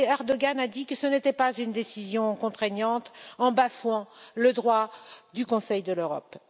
Erdoğan a dit que ce n'était pas une décision contraignante, en bafouant le droit du Conseil de l'Europe.